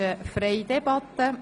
Wir führen eine freie Debatte.